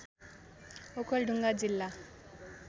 ओखलढुङ्गा जिल्ला